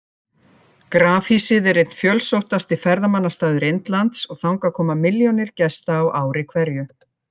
Grafhýsið er einn fjölsóttasti ferðamannastaður Indlands og þangað koma milljónir gesta á ári hverju.